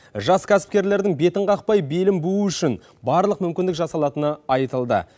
жас кәсіпкерлердің бетін қақпай белін буу үшін барлық мүмкіндік жасалатыны айтылды